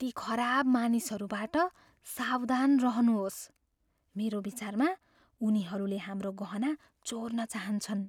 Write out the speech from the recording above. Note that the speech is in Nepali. ती खराब मानिसहरूबाट सावधान रहनुहोस्। मेरो विचारमा उनीहरूले हाम्रो गहना चोर्न चाहन्छन्।